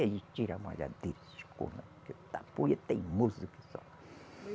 Ele tira a malhadeira, teimoso que só.